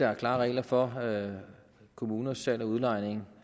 er klare regler for kommuners salg og udlejning